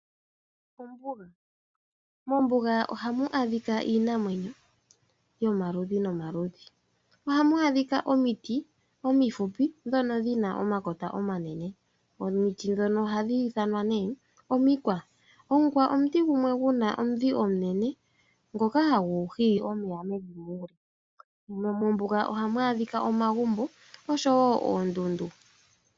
Ombuga, mombuga ohamu adhika iinamwenyo yomaludhi nomaludhi. Ohamu adhika omiti omifupi ndhono dhina omakota omanene , omiti ndhono ohadhi ithanwa nee omikwa, omukwa omuti gumwe guna omudhi omunene ngoka hagu gili omeya mevi muule. Mombuga ohamu adhika omagumbo oshowo oondundu.